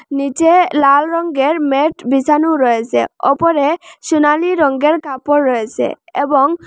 নীচে লালা রঙ্গের ম্যাট বিসানো রয়েসে ওপরে সোনালী রঙ্গের কাপড় রয়েসে এবং--